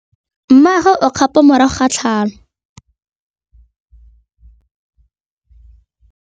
Mmagwe o kgapô morago ga tlhalô.